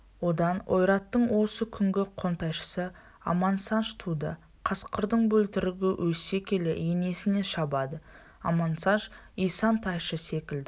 одан ойраттың осы күнгі қонтайшысы амансандж туды қасқырдың бөлтірігі өсе келе енесіне шабады амансандж исан-тайшы секілді